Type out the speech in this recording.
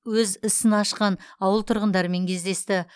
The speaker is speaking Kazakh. өз ісін ашқан ауыл тұрғындарымен кездесті